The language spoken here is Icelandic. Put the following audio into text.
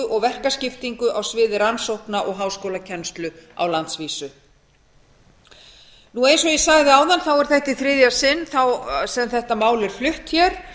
og verkaskiptingu á sviði rannsókna og háskólakennslu á landsvísu eins og ég sagði áðan er þetta í þriðja sinn sem þetta mál er flutt hér